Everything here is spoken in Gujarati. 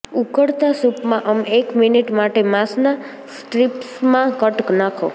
ઉકળતા સૂપમાં અમે એક મિનિટ માટે માંસના સ્ટ્રીપ્સમાં કટ નાખ્યો